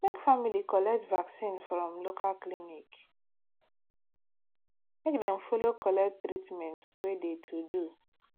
make family collect vaccin from local clinic make dem follow collect treatment wey de to do